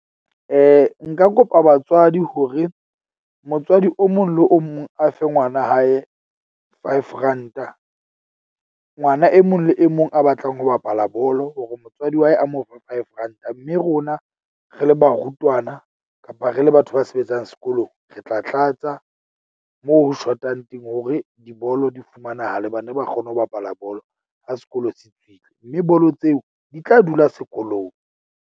Nka kopa batswadi hore motswadi o mong le o mong a fe ngwana hae five ranta. Ngwana e mong le e mong a batlang ho bapala bolo, hore motswadi wa hae a mo five ranta. Mme rona re le barutwana kapa re le batho ba sebetsang sekolong, re tla tlatsa mo ho shotang teng hore dibolo di fumanahala. Bana ba kgone ho bapala bolo ha sekolo se tswile, mme bolo tseo di tla dula sekolong.